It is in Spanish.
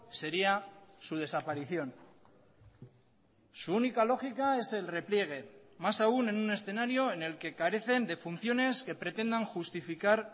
sería su desaparición su única lógica es el repliegue más aún en un escenario en el que carecen de funciones que pretendan justificar